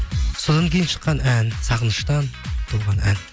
содан кейін шыққан ән сағыныштан туған ән